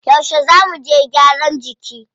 Yauce zá muje gyaran jiki?